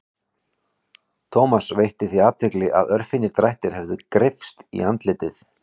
Thomas veitti því athygli að örfínir drættir höfðu greypst í andlitið.